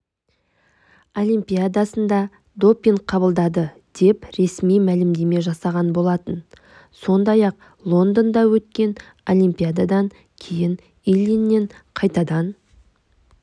олимпиадасында допинг қабылдады деп ресми мәлімдеме жасаған болатын сондай-ақ лондонда өткен олимпиададан кейін ильиннен қайтадан